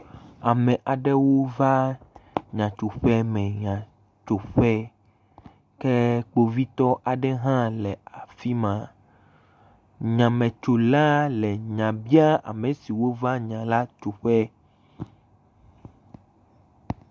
Ame aɖewo va nya tso ƒe me nya tso ƒe. kpovitɔ aɖe hã nɔ afi ma. Nyametsola le nya bia ame siwo va nya la tso ƒe.